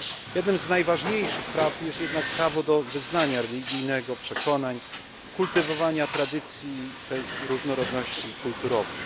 Jednym z najważniejszych praw jest jednak prawo do wyznania religijnego, przekonań, kultywowania tradycji i tej różnorodności kulturowej.